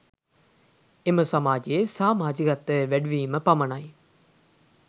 එම සමාජයේ සාමජිකත්වය වැඩි වීම පමණයි